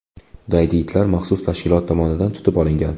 Daydi itlar maxsus tashkilot tomonidan tutib olingan.